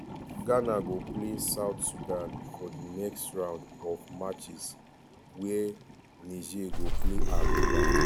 ghana go play south sudan for di next round of matches wia niger go play angola.